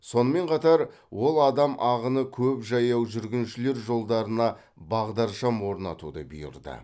сонымен қатар ол адам ағыны көп жаяу жүргіншілер жолдарына бағдаршам орнатуды бұйырды